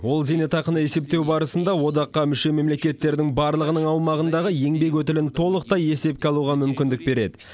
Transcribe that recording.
ол зейнетақыны есептеу барысында одаққа мүше мемлекеттердің барлығының аумағындағы еңбек өтілін толықтай есепке алуға мүмкіндік береді